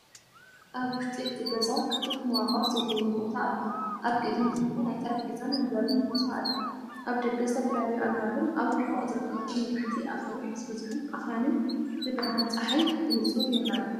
ኣብ ውሽጢ እቲ ገዛ ክፉት መዋቕር ዘለዎ ቦታ ኣሎ። ኣብ ቅድሚት ድማ ናይ ጠረጴዛን መንበርን ቦታ ኣሎ። ኣብ ደገ ዝተፈላለዩ ኣግራብን ኣብ ርሑቕ ዝርከቡ ነዋሕቲ ኣኻውሕ ዝበዝሖም ኣኽራንን ብብርሃን ጸሓይ ብንጹር ይረኣዩ።